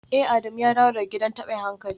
Eh Adamu ya dawo daga gidan tabin hankali